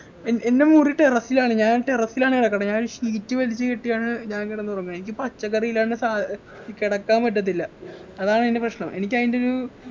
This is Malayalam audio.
ഏർ എൻ്റെ മുറി terrace ലാണ് ഞാൻ terrace ലാണ് കിടക്കുന്നെ ഞാൻ sheet വലിച്ചുകെട്ടിയാണ് ഞാൻ കിടന്നുറങ്ങുവ എനിക്ക് പച്ചക്കറി ഇല്ലാണ്ട് സാ കിടക്കാൻ പറ്റത്തില്ല അതാണ് എൻ്റെ പ്രശ്നം എനിക്കതിൻ്റെ ഒരു